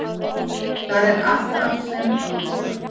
Þar er allt af sem áður var.